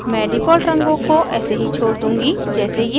मैं default रंगों को ऐसे ही छोड़ दूंगी जैसे ये हैं